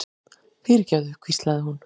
fyrirgefðu, hvíslaði hún.